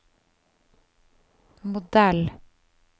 modell